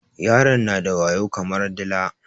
Yaron na da wayo kamar dila